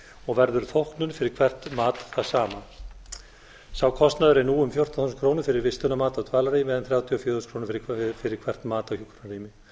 og verður þóknun fyrir hvert mat það sama sá kostnaður er nú um fjórtánda þúsund krónur fyrir vistunarmat á dvalarrými en þrjátíu og fjögur þúsund fyrir hvert mat á hjúkrunarrými